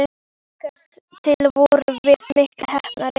Líkast til vorum við miklu heppnari.